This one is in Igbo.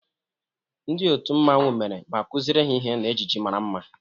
Ndị otu mmanwu mere ma kụziere ha ihe na ejiji mara mma.